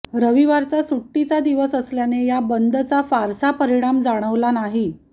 रविवारचा सुट्टीचा दिवस असल्याने या बंदचा फारसा परिणाम जाणवला नाही